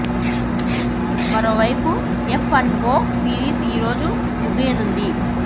మరోవైపు F and O series ఈ రోజు ముగియనుంది